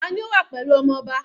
Tani ó wà pẹ̀lú ọmọ ọba?